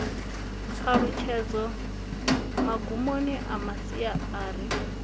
ṱhalutshedzo magumoni a masia ari